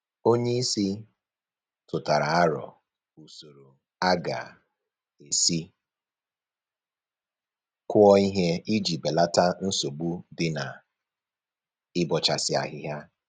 Onye isi tụtara aro usoro a ga-esi kụọ ihe iji belata nsogbu dị na-ịbọchasị ahịhịa